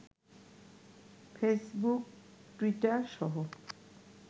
Facebook, Twitter সহ